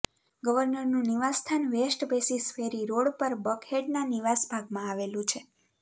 ગવર્નરનું નિવાસસ્થાન West Paces Ferry Road પર બકહેડના નિવાસ ભાગમાં આવેલું છે